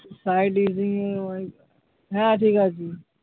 Side হ্যাঁ ঠিক আছে।